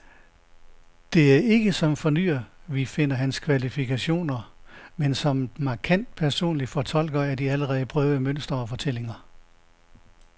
Det er ikke som fornyer, vi finder hans kvaliteter, men som markant personlig fortolker af de allerede prøvede mønstre og fortællinger.